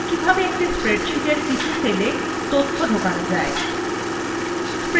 data যাক কিভাবে একটি spreadsheetএর কিছু সেলa তথ্য ঢোকানো যায়